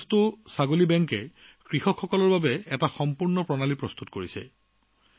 মণিকাস্তু ছাগলী বেংক কৃষকৰ বাবে এক সম্পূৰ্ণ ব্যৱস্থা প্ৰস্তুত কৰিছে